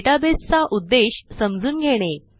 database चा उद्देश समजून घेणे